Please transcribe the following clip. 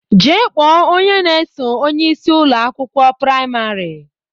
Jee kpọọ onye na-eso onyeisi Ụlọ akwụkwọ praịmarị!